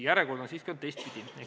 Järjekord on siiski olnud teistpidi.